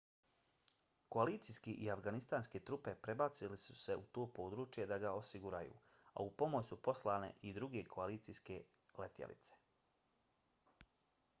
koalicijske i afganistanske trupe prebacile su se u to područje da ga osiguraju a u pomoć su poslane i druge koalicijske letjelice